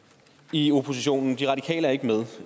i oppositionen de radikale er ikke med